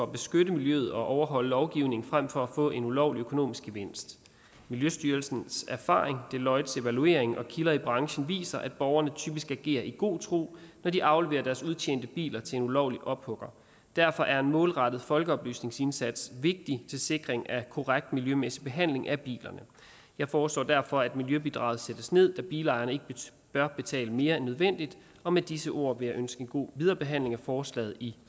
beskytte miljøet og overholde lovgivningen frem for at få en ulovlig økonomisk gevinst miljøstyrelsens erfaring deloittes evaluering og kilder i branchen viser at borgerne typisk agerer i god tro når de afleverer deres udtjente biler til en ulovlig ophugger derfor er en målrettet folkeoplysningsindsats vigtig til sikring af korrekt miljømæssig behandling af bilerne jeg foreslår derfor at miljøbidraget sættes ned da bilejerne ikke bør betale mere end nødvendigt og med disse ord vil jeg ønske en god viderehandling af forslaget i